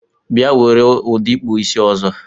Bia were udi ikpụ isi ọzọ!